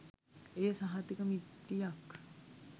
එය සහතික මිටියක්